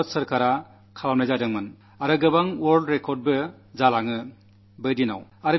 ഭാരത സർക്കാർ ദിവ്യാംഗരുടെ ഒരു വലിയ ക്യാമ്പ് സംഘടിപ്പിച്ചിരുന്നു